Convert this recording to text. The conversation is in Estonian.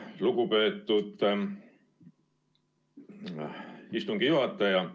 Lugupeetud istungi juhataja!